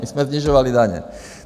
My jsme snižovali daně.